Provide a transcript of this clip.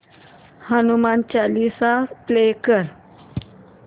Hanuman Chalisa play कर